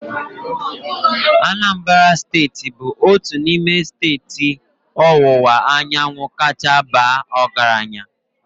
Anambra steeti bụ otu n'ime steeti ọwụwa anyanwụ kacha baa ọgaranya.